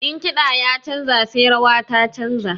In kiɗa ya canja sai rawa ta canja.